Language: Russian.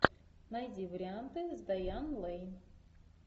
найди варианты с дайан лэйн